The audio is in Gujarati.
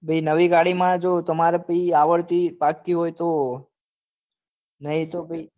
ભાઈ જો નવી ગાડી માં તમારે પહી આવડતી પાકી હોય તો નહિ તો પહી